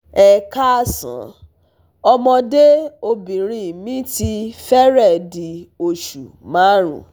Ẹ káàsán, ọmọde obinrin mi ti fẹrẹẹ di osu marun